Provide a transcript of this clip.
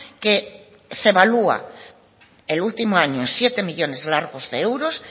que se evalúa el último año siete millónes largos de euros